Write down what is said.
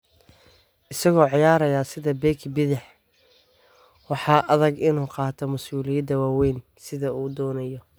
Isagoo ciyaaraya sida beki bidix, waxaa adag inuu qaato mas'uuliyadda waawayn sidii uu doonayay.